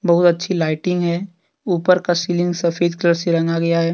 बहुत अच्छी लाइटिंग है ऊपर का सीलिंग सफेद कलर से रंगा गया है।